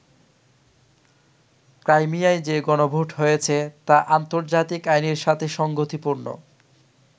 ক্রাইমিয়ায় যে গণভোট হয়েছে তা আন্তর্জাতিক আইনের সাথে সঙ্গতিপূর্ণ।